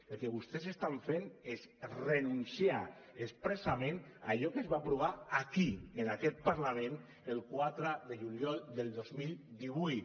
el que vostès estan fent és renunciar expressament a allò que es va aprovar aquí en aquest parlament el quatre de juliol del dos mil divuit